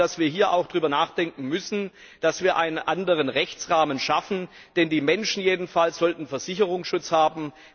Ich glaube, dass wir hier auch darüber nachdenken müssen, dass wir einen anderen Rechtsrahmen schaffen, denn die Menschen jedenfalls sollten Versicherungsschutz haben.